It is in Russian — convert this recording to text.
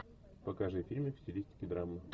покажи фильмик в стилистике драмы